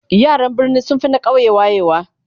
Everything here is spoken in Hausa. yaran birni sunfi na ƙauye wayewa